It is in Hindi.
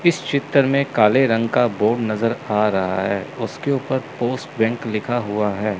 इस चित्र में काले रंग का बोर्ड नजर आ रहा है उसके ऊपर पोस्ट बैंक लिखा हुआ है।